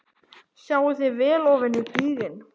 Sjáið þið vel ofan í gíginn?